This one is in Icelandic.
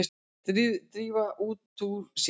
Drífa út úr sér.